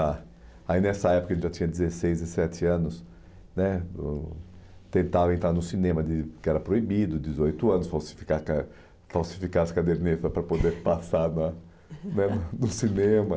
Ah, aí, nessa época, a gente já tinha dezesseis, dezessete anos, né eu tentava entrar no cinema de, porque era proibido, dezoito anos, falsificar car falsificar as cadernetas para poder passar na né no cinema.